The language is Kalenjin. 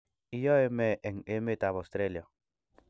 Iyoe me eng emetab Australia?